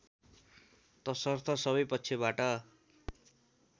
तसर्थ सबै पक्षबाट